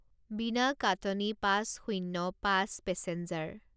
বিনা কাটনি পাঁচ শূণ্য পাঁচ পেছেঞ্জাৰ